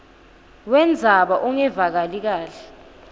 wendzaba ungevakali kahle